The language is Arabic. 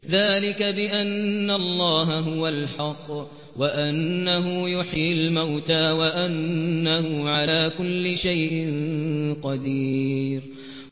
ذَٰلِكَ بِأَنَّ اللَّهَ هُوَ الْحَقُّ وَأَنَّهُ يُحْيِي الْمَوْتَىٰ وَأَنَّهُ عَلَىٰ كُلِّ شَيْءٍ قَدِيرٌ